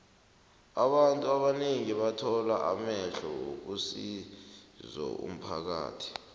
abantu abanengi bathoma amahlelo wokusizo umphakathi